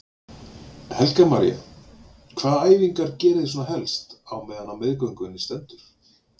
Helga María: Hvaða æfingar geriði svona helst á meðan á meðgöngunni stendur?